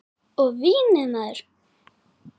Og vínið maður!